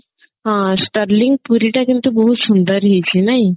ହଁ sterling ପୁରୀ ଟା କିନ୍ତୁ ବହୁତ ସୁନ୍ଦର ହେଇଛି ନାଇଁ